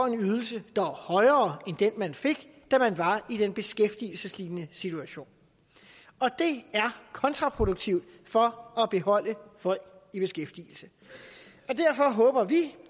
ydelse der er højere end den man fik da man var i den beskæftigelseslignende situation det er kontraproduktivt for at beholde folk i beskæftigelse derfor håber vi